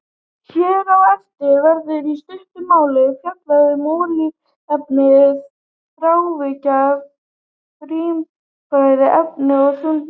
Hér á eftir verður í stuttu máli fjallað um olíuefni, þrávirk lífræn efni og þungmálma.